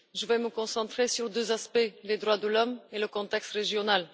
Je vais me concentrer sur deux aspects les droits de l'homme et le contexte régional.